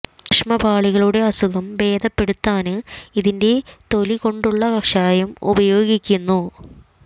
ശ്ലേഷ്മ പാളികളുടെ അസുഖം ഭേദപ്പെടുത്താന് ഇതിന്റെ തൊലി കൊണ്ടുള്ള കഷായം ഉപയോഗിക്കുന്നു